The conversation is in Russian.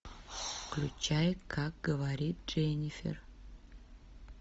включай как говорит дженнифер